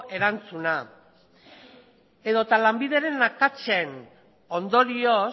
erantzuna edota lanbideren akatsen ondorioz